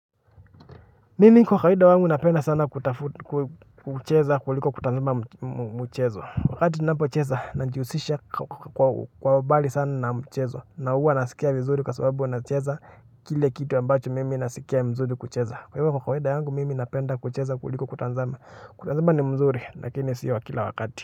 Mimi kwa kawaida wangu napenda sana kutafu kucheza kuliko kutazama mchezo wakati ninapo cheza najihusisha kwa umbali sana na mchezo na huwa nasikia vizuri kwa sababu nacheza kile kitu ambacho mimi nasikia vizuri kucheza kwa hivyo kwa kawaida wangu mimi napenda kucheza kuliko kutazama kutazama ni mzuri lakini sio kila wakati.